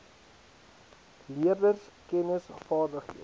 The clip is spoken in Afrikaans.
leerders kennis vaardighede